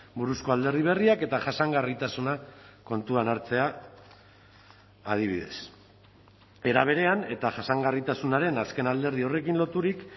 buruzko alderdi berriak eta jasangarritasuna kontuan hartzea adibidez era berean eta jasangarritasunaren azken alderdi horrekin loturik